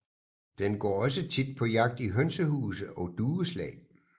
Den går også tit på jagt i hønsehuse og dueslag